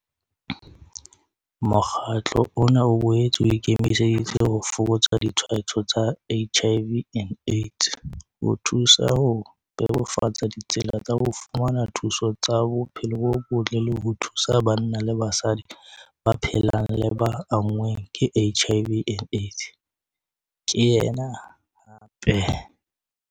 "Mokgatlo ona o boetse o ikemiseditse ho fokotsa ditshwaetso tsa HIV and AIDS, ho thusa ho bebofatsa ditsela tsa ho fumana thuso ya tsa bophelo bo botle le ho thusa banna le basadi ba phelang le ba anngweng ke HIV and AIDS," ke yena hape.